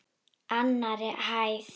Annarri hæð.